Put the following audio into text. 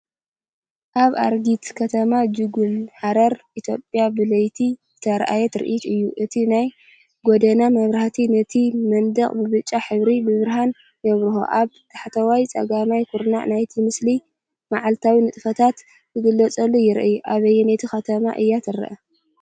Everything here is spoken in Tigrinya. ካብ ኣረጊት ከተማ (ጁጎል) ሃረር ኢትዮጵያ ብለይቲ ዝተራእየ ትርኢት እዩ። እቲ ናይ ጎደና መብራህቲ ነቲ መንደቕ ብብጫ ዝሕብሩ ብርሃን የብርሆ፤ ኣብ ታሕተዋይ ጸጋማይ ኩርናዕ ናይቲ ምስሊ፡ መዓልታዊ ንጥፈታት ዝገልጽ ይርአ። ኣብየነይቲ ከተማ እያ ትርአ?